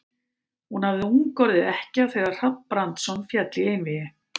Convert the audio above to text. Hún hafði ung orðið ekkja þegar Hrafn Brandsson féll í einvígi.